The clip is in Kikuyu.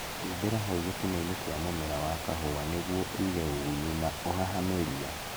Humbĩra hau gĩtinainĩ kĩa mũmera wa kahũa nĩguo ũige ũgunyu na ũhahame ria